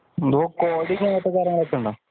coding അങ്ങനത്തെ കാര്യങ്ങള്‍ ഒക്കെയുണ്ടോ